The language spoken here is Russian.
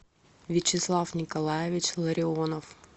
вячеслав николаевич ларионов